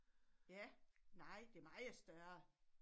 Ja nej det meget større